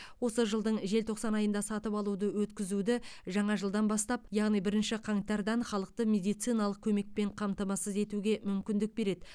осы жылдың желтоқсан айында сатып алуды өткізуді жаңа жылдан бастап яғни бірінші қаңтардан халықты медициналық көмекпен қамтамасыз етуге мүмкіндік береді